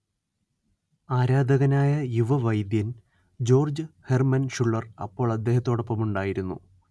ആരാധകനായ യുവവൈദ്യൻ George Herman Schuller അപ്പോൾ അദ്ദേഹത്തോടൊപ്പമുണ്ടായിരുന്നു